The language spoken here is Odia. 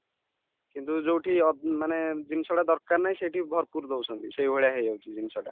କିନ୍ତୁ ଯୋଉଠି ଅ ମାନେ ଜିନିଷ ଟା ଦରକାର ନାହିଁ ସେଇଠି ଭରପୁର ଦଉଛନ୍ତି ସେଇଭଳିଆ ହେଇଯାଉଛି ଜିନିଷଟା